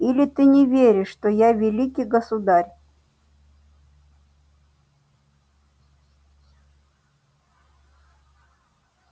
или ты не веришь что я великий государь